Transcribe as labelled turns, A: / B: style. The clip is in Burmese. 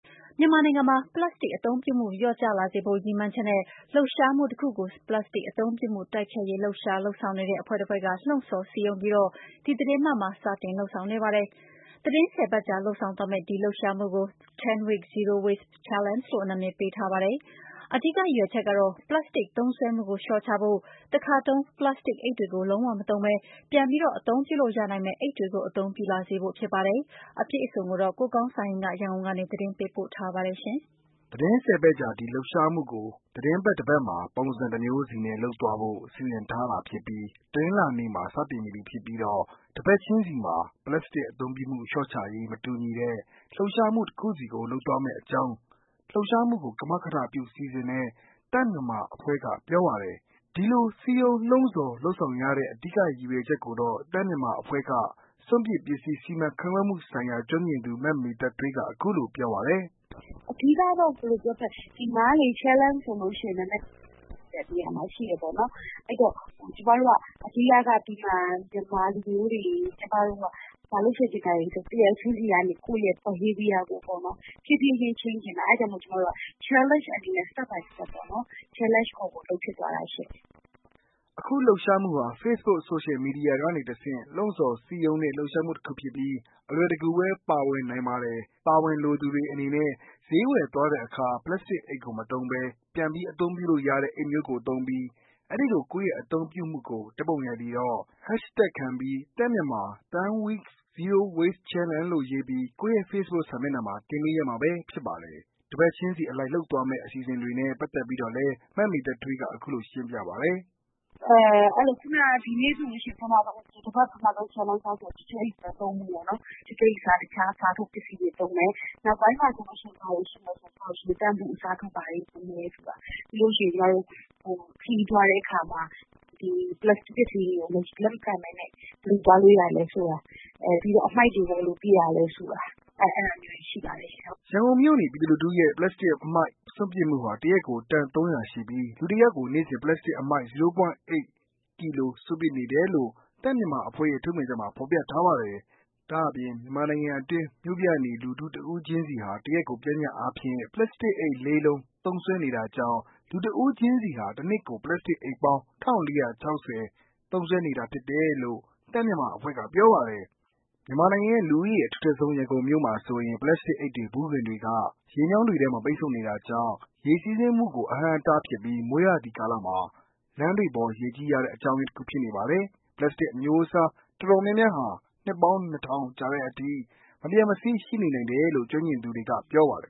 A: မြန်မာနိုင်ငံမှာ ပလတ်စတစ်အသုံးပြုမှု လျော့ကျလာစေဖို့ ရည်မှန်းချက်နဲ့ လှုပ်ရှားမှုတခုကို ပလတ်စတစ်အသုံးပြုမှု တိုက်ဖျက်ရေး လှုပ်ရှားလုပ်ဆောင်နေတဲ့ အဖွဲ့တဖွဲ့က လှုံ့ဆော်စည်းရုံးပြီး ဒီသီတင်းပတ်မှာ စတင်လုပ်ဆောင်နေပါတယ်။ သီတင်း ၁၀ ပတ်ကြာ လုပ်ဆောင်သွားမယ့် ဒီလှုပ်ရှားမှုကို 10 weeks Zero Waste Challenge လို့ အမည်ပေးထားပါတယ်။ အဓိကရည်ရွယ်ချက်ကတော့ ပလပ်စတစ်သုံးစွဲမှုကို လျှော့ချဖို့၊ တခါသုံး ပလတ်စတစ်အိတ်တွေကို လုံးဝမသုံးဘဲ ပြန်ပြီး အသုံး ပြုလို့ရနိုင်မယ့်အိတ်တွေကို အသုံးပြုလာစေဖို့ပဲ ဖြစ်ပါတယ်။ အပြည့်အစုံကိုတော့ ကိုကောင်းစံဟိန်းက ပြောပြပါမယ်။ သီတင်း ၁
B: ၀ ပတ်ကြာ ဒီလှုပ်ရှားမှုကို သီတင်းပတ်တပတ်မှာ ပုံစံတမျိုးစီနဲ့လုပ်သွားဖို့ စီစဉ်ထားတာဖြစ်ပြီး တနင်္လာနေ့မှာ စတင်နေပြီဖြစ်ပြီးတော့ တပတ်ချင်းစီမှာ ပလတ်စတစ်အသုံးပြုမှု လျှော့ချရေး မတူညီတဲ့ လှုပ်ရှားမှုတခုစီကို လုပ်သွားမယ့် အကြောင်း လှုပ်ရှားမှုကို ကမကထပြုစီစဉ်တဲ့ သန့်မြန်မာအဖွဲ့က ပြောပါတယ်။ ဒီလို စည်းရုံးလှုံ့ဆော်လုပ်ဆောင်ရတဲ့ အဓိက ရည်ရွယ်ချက်ကိုတော့ သန့်မြန်မာအဖွဲ့က စွန့်ပစ်ပစ္စည်း စီမံခန့်ခွဲမှုဆိုင်ရာ ကျွမ်းကျင်သူ မမေသက်ထွေးက အခုလိုပြောပါတယ်။
C: “ အဓိကတော့ ဒီမှာကလေ challenge ဆိုရင် နည်းနည်းလုပ်လို့ရတဲ့နေရာမှာရှိတယ်ပေါ့နော် ။ ဆိုတော့ ကျမတို့က ဒီမှာ မြန်မာလူမျိုးတွေ ဘာလုပ်စေချင်တာကို တယောက်ချင်းစီ ကိုယ့်ရဲ့ behavior ကို တဖြေးဖြေးချင်း ချိန်းချင်တာ ၊ ဆိုတော့ ကျမတို့က challenge အနေနဲ့ Step by step challenge ခေါ်လုပ်သလိုမျိုး လုပ်ဖြစ်သွားတာ
B: ပါရှင့်။” အခုလှုပ်ရှားမှုဟာ ဖေ့စ်ဘုတ် ဆိုရှယ်မီဒီယာကနေတဆင့် လှုံ့ဆော် စည်းရုံးတဲ့ လှုပ်ရှားမှုတခုဖြစ်ပြီး အလွယ်တကူပဲ ပါဝင်နိုင်ပါ တယ်။ ပါဝင်လိုသူတွေအနေနဲ့ ဈေးဝယ်သွားတဲ့အခါ ပလတ်စတစ်အိတ်ကိုမသုံးဘဲ ပြန်ပြီးအသုံးပြုလို့ရတဲ့ အိတ်မျိုးကိုသုံးပြီး အဲဒီလို ကိုယ့်ရဲ့အသုံးပြုမှုကို ဓာတ်ပုံရိုက်ပြီးတော့ #သန့်မြန်မာ 10 weeks Zero waste challenge လို့ရေးပြီး ကိုယ့်ရဲ့ ဖေ့စ်ဘုတ်စာမျက်နှာမှာ တင်ပေးရမှာပဲဖြစ်ပါတယ်။ တစ်ပတ်ချင်းစီအလိုက် လုပ်သွားမယ့် အစီအစဉ်တွေနဲ့ ပတ်သက်ပီးတော့လည်း မမေသက်ထွေးက အခုလို ရှင်းပြပါတယ်
C: ။ “ဒီနေ့ဆိုရင် ပထမဦးဆုံး တပတ်ရဲ့ challenge အစဆိုရင် ကြွတ်ကြွတ်အိတ်အစား တခြား အစားသုံးပစ္စည်းသုံးမယ်။ နောက်ပိုင်းမှာဆိုရင် ဘာရှိမလဲဆိုတော့ ရေသန့်ဘူးအစား တခြားအစားထိုး ပစ္စည်းတွေ နောက်ပြီး ကျမတို့ ခရီးသွားတဲ့အခါမှာ ပလတ်စတစ် ပစ္စည်းတွေကို လက်မခံပဲနဲ့ ဘယ်လိုသွားလို့ရသလဲဆိုတာ ပြီးတော့ အမှိုက်တွေ ဘယ်လိုပစ်ရသလဲဆိုတာ အဲဒါမျိုးတွေ ရှိပါတယ်ရှင့်။
B: ” ရန်ကုန်မြို့နေလူထုရဲ့ ပလတ်စတစ်အမှိုက် စွန့်ပစ်မှုဟာ တစ်ရက်ကို တန် ၃၀၀ ရှိပြီး လူတစ်ယောက်ကို နေ့စဉ် ပလတ်စတစ် အမှိုက် ဝ.၈ ကီလို စွန့်ပစ်နေတယ်လို့ သန့်မြန်မာအဖွဲ့ရဲ့ ထုတ်ပြန်ချက်မှာ ဖော်ပြထားပါတယ်။ ဒါ့အပြင် မြန်မာနိုင်ငံတွင်း မြို့ပြ နေလူထု တဦးချင်းစီဟာ တရက်ကို ပျှမ်းမျှခြင်းအားဖြင့် ပလတ်စတစ်အိတ် ၄ လုံး သုံးစွဲနေတာကြောင့် လူတဦးချင်းစီဟာ တနှစ်ကို ပလတ်တစ်အိတ်ပေါင်း ၁၄၆၀ သုံးစွဲနေတာဖြစ်တယ်လို့ သန့်မြန်မာအဖွဲ့က ပြောပါတယ်။ မြန်မာနိုင်ငံရဲ့ လူဦးရေအထူထပ်ဆုံး ရန်ကုန်မြို့မှာဆိုရင် ပလတ်စတစ်အိတ်တွေ၊ ဗူးခွံတွေက ရေမြောင်းတွေထဲမှာ ပိတ်ဆို့နေ တာကြောင့် ရေစီးဆင်းမှုကို အဟန့်အတားဖြစ်ပြီး မိုးရာသီကာလမှာ လမ်းတွေပေါ်ရေကြီးရတဲ့ အကြောင်းရင်းတခုဖြစ်နေပါတယ်။ ပလစ်စတစ် အမျိုးအစားအတော်များများဟာ နှစ်ပေါင်း ၂၀၀၀ ကြာတဲ့အထိ မပျက်မစီး ရှိနေနိုင်တယ်လို့ ကျွမ်းကျင်သူတွေက ပြောပါတယ်